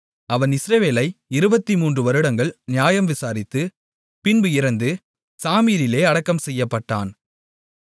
அவன் இஸ்ரவேலை 23 வருடங்கள் நியாயம் விசாரித்து பின்பு இறந்து சாமீரிலே அடக்கம் செய்யப்பட்டான்